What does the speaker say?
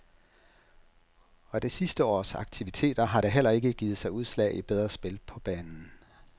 Og det sidste års aktiviteter har da heller ikke givet sig udslag i bedre spil på banen.